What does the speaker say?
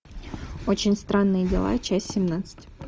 очень странные дела часть семнадцать